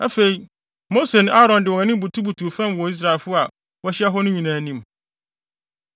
Afei, Mose ne Aaron de wɔn anim butubutuu fam wɔ Israelfo a wɔahyia hɔ no nyinaa anim.